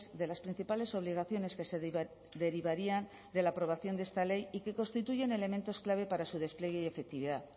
de las principales obligaciones que se derivarían de la aprobación de esta ley y que constituyen elementos clave para su despliegue y efectividad